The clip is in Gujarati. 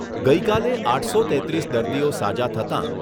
ગઈકાલે આઠસો તેત્રીસ દર્દીઓ સાજા થતાં